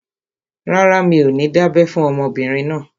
Rárá, mi ò ní dábẹ́ fún ọmọbìnrin náà